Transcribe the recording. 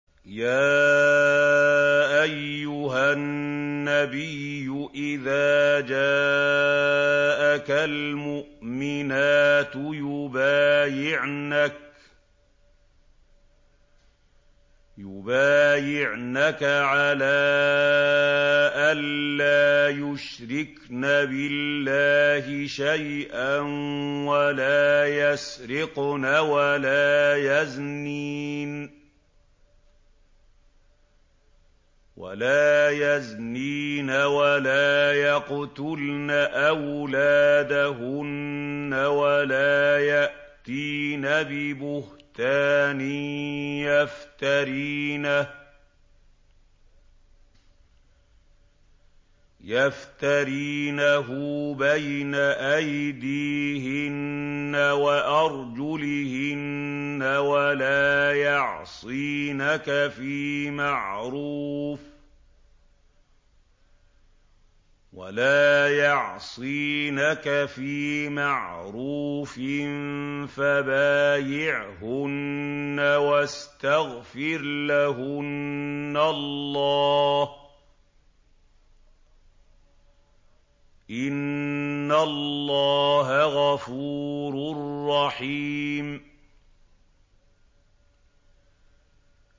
يَا أَيُّهَا النَّبِيُّ إِذَا جَاءَكَ الْمُؤْمِنَاتُ يُبَايِعْنَكَ عَلَىٰ أَن لَّا يُشْرِكْنَ بِاللَّهِ شَيْئًا وَلَا يَسْرِقْنَ وَلَا يَزْنِينَ وَلَا يَقْتُلْنَ أَوْلَادَهُنَّ وَلَا يَأْتِينَ بِبُهْتَانٍ يَفْتَرِينَهُ بَيْنَ أَيْدِيهِنَّ وَأَرْجُلِهِنَّ وَلَا يَعْصِينَكَ فِي مَعْرُوفٍ ۙ فَبَايِعْهُنَّ وَاسْتَغْفِرْ لَهُنَّ اللَّهَ ۖ إِنَّ اللَّهَ غَفُورٌ رَّحِيمٌ